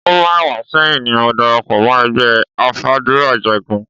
Ọdún mẹ́wàá sẹ́yìn ni mo darapọ̀ mọ́ ẹgbẹ́ afàdúràjagun.